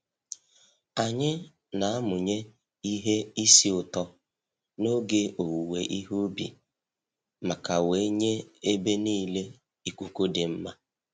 Anyï na-amụnye ihe isi ụtọ n'oge owuwe ihe ubi maka wee nye ebe niile ikuku dị mma